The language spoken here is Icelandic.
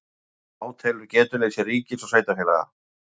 Átelur getuleysi ríkis og sveitarfélaga